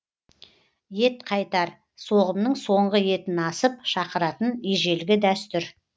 ет қайтар соғымның соңғы етін асып шақыратын ежелгі дәстүр